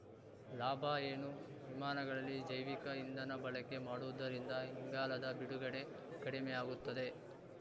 ಲಾಭ ಏನು ವಿಮಾನಗಳಲ್ಲಿ ಜೈವಿಕ ಇಂಧನ ಬಳಕೆ ಮಾಡುವುದರಿಂದ ಇಂಗಾಲದ ಬಿಡುಗಡೆ ಕಡಿಮೆಯಾಗುತ್ತದೆ